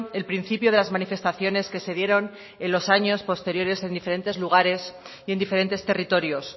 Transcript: el principio de las manifestaciones que se dieron en los años posteriores en diferentes lugares y en diferentes territorios